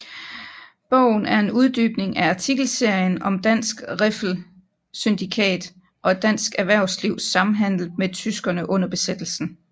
Bogen er en uddybning af artikelserien om Dansk Riffel Syndikat og dansk erhvervslivs samhandel med tyskerne under besættelsen